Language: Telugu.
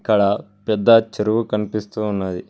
అక్కడ పెద్ద చెరువు కనిపిస్తూ ఉన్నది.